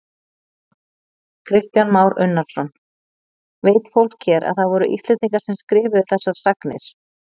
Kristján Már Unnarsson: Veit fólk hér að það voru Íslendingar sem skrifuðu þessar sagnir?